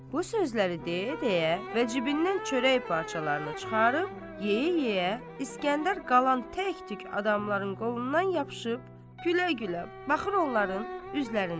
Bu sözləri deyə-deyə və cibindən çörək parçalarını çıxarıb yeyə-yeyə, İsgəndər qalan tək-tük adamların qolundan yapışıb gülə-gülə baxır onların üzlərinə.